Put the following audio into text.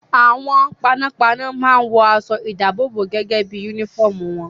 Àwọn panápaná máa ń wọ aṣọ-ìdáàbòbò gẹ́gẹ́ bí i únífọ́ọ́mù wọn.